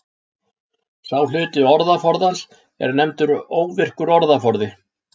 Sá hluti orðaforðans er nefndur óvirkur orðaforði.